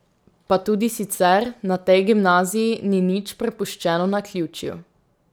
Pa tudi sicer na tej gimnaziji ni nič prepuščeno naključju.